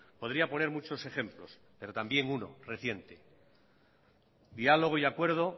podría poner muchos ejemplos pero también uno reciente diálogo y acuerdo